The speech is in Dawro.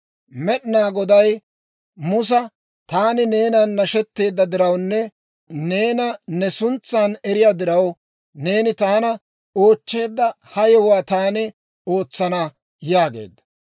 Med'inaa Goday Musa, «Taani neenan nashetteedda dirawunne neena ne suntsan eriyaa diraw, neeni taana oochcheedda ha yewuwaa taani ootsana» yaageedda.